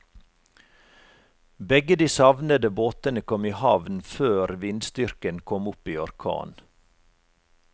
Begge de savnede båtene kom i havn før vindstyrken kom opp i orkan.